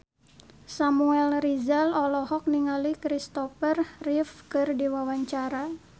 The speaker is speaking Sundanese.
Samuel Rizal olohok ningali Kristopher Reeve keur diwawancara